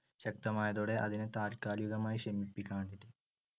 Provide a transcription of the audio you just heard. ശക്തമായതോടെ അതിനെ താൽകാലികമായി ശമിപ്പിക്കാൻവേണ്ടി